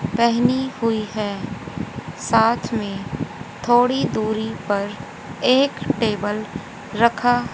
पहनी हुई है साथ में थोड़ी दूरी पर एक टेबल रखा--